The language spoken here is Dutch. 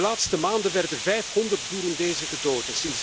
In de laatste maanden werden 500 Burundezen gedood.